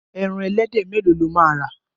Ẹran ẹlẹ́dẹ̀ mẹ́lòó lo máa rà.